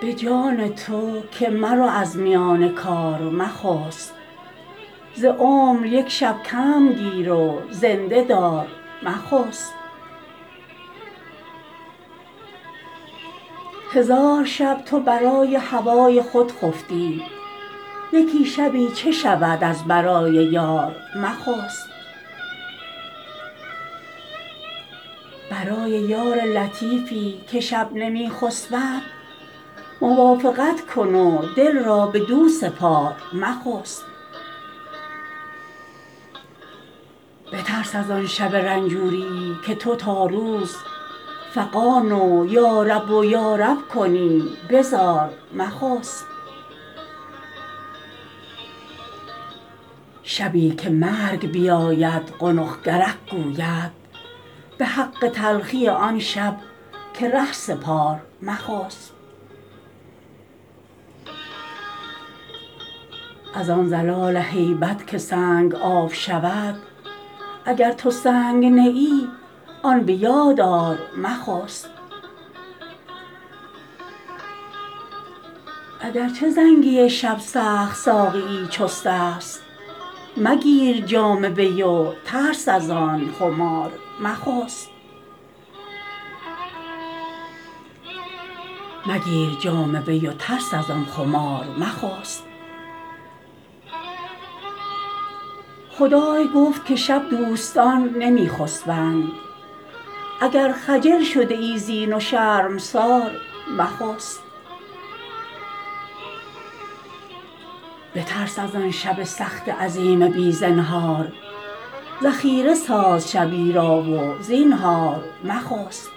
به جان تو که مرو از میان کار مخسب ز عمر یک شب کم گیر و زنده دار مخسب هزار شب تو برای هوای خود خفتی یکی شبی چه شود از برای یار مخسب برای یار لطیفی که شب نمی خسبد موافقت کن و دل را بدو سپار مخسب بترس از آن شب رنجوریی که تو تا روز فغان و یارب و یارب کنی به زار مخسب شبی که مرگ بیاید قنق کرک گوید به حق تلخی آن شب که ره سپار مخسب از آن زلازل هیبت که سنگ آب شود اگر تو سنگ نه ای آن به یاد آر مخسب اگر چه زنگی شب سخت ساقی چستست مگیر جام وی و ترس از آن خمار مخسب خدای گفت که شب دوستان نمی خسبند اگر خجل شده ای زین و شرمسار مخسب بترس از آن شب سخت عظیم بی زنهار ذخیره ساز شبی را و زینهار مخسب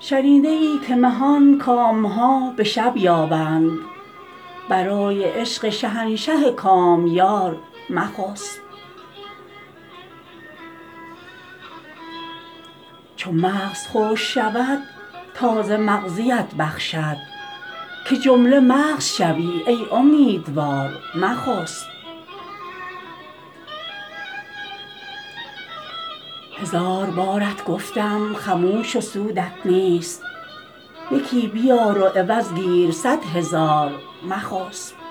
شنیده ای که مهان کام ها به شب یابند برای عشق شهنشاه کامیار مخسب چو مغز خشک شود تازه مغزیت بخشد که جمله مغز شوی ای امیدوار مخسب هزار بارت گفتم خموش و سودت نیست یکی بیار و عوض گیر صد هزار مخسب